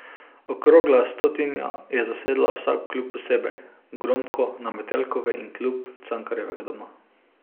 Okrogla stotnija je zasedla vsak klub posebej, Gromko na Metelkovi in klub Cankarjevega doma.